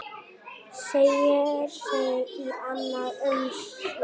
Teygir sig í annað umslag.